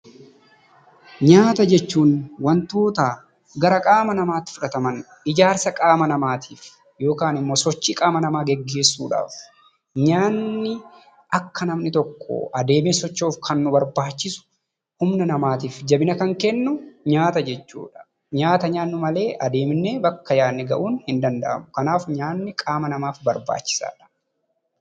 Nyaata jechuun wantoota gara qaama namaatti fudhataman ijaarsa qaama namaatiif yookiin nyaatni akka namni tokko adeemee socho'uuf kan nu barbaachisu humna namaatiif jabina kan kennu nyaata jechuudha. Nyaata nyaannu malee adeemnee bakka yaadne gahuun hin danda'amu. Kanaaf nyaanni qaama namaaf barbaachisaadha.